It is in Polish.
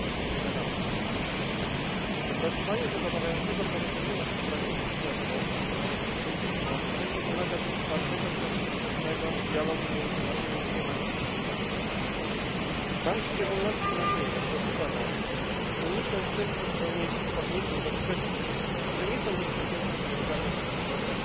2011. Wypracowanie zadawalającego porozumienia w sprawie budżetu na rok 2012 będzie wymagać otwartego i konstruktywnego dialogu między naszymi dwiema instytucjami. Mam w szczególności nadzieję, ze uda nam się uniknąć wszelkich odniesień do kwestii, które nie są bezpośrednio związane z budżetem